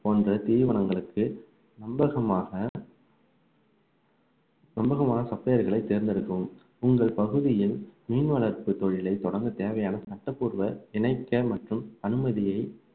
போன்ற தீவனங்களுக்கு நம்பகமாக நம்பகமான supplier களை தேர்ந்தெடுக்கவும் உங்கள் பகுதியில் மீன் வளர்ப்பு தொழிலை தொடங்க தேவையான சட்டபூர்வ இணைக்க மற்றும் அனுமதியை